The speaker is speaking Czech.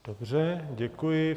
Dobře, děkuji.